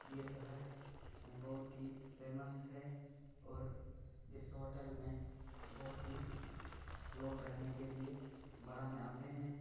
ये शहर बहुत ही फेमस है और इस होटल में बहुत ही लोग रहने के लिए में आते हैं।